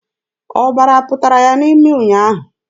Ọbara pụtara ya n'imi ụnyaahụ.